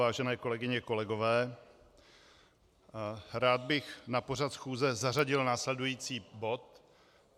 Vážené kolegyně, kolegové, rád bych na pořad schůze zařadil následující bod.